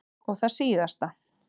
Og það síðasta.